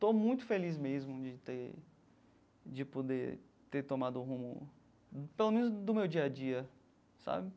Estou muito feliz mesmo de ter, de poder ter tomado um rumo, pelo menos do meu dia a dia, sabe?